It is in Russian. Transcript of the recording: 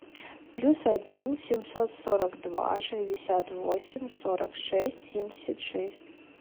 плюс один семьсот сорок два шестьдесят восемь сорок шесть семьдесят шесть